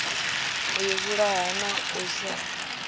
u ivhulaha na u sa